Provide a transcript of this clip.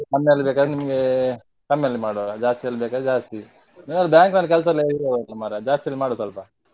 ಕಮ್ಮಿಯಲ್ಲಿ ಬೇಕಾದ್ರೆ ನಿಮಗೆ ಕಮ್ಮಿಯಲ್ಲಿ ಮಾಡುವ ಜಾಸ್ತಿಯಲ್ಲಿ ಬೇಕಾದ್ರೆ ಜಾಸ್ತಿ ನೀವೆಲ್ಲ bank ಅಲ್ಲಿ ಕೆಲಸ ಇರುವವರು ಅಲ್ಲ ಮಾರೆ ಜಾಸ್ತಿ ಅಲ್ಲಿ ಮಾಡು ಸ್ವಲ್ಪ.